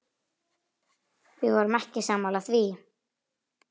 Við vorum ekki sammála því.